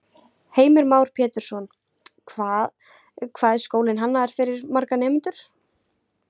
Heimir Már Pétursson: Hvað, hvað er skólinn hannaður fyrir marga nemendur?